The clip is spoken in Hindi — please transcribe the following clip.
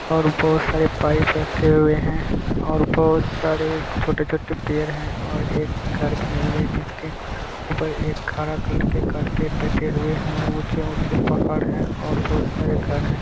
और बहोत सारे पाइप रखे हुवे है और बोहोत सारे छोटे-छोटे पेड़ है और एक घर बने हुवे है जिसके ऊपर एक हरा कलर के कार्पेट बैठे हुवे हैउच्चेे-उच्चे पहाड़ है और बहोत सारे घर है।